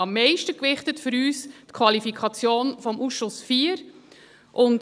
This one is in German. Am meisten gewichtet für uns die Qualifikation des Ausschusses IV.